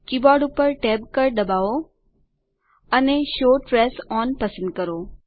keyboard પર tab કળ દબાવો અને શો ટ્રેસ ઓન પસંદ કરો